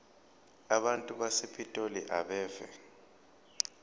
abantu basepitoli abeve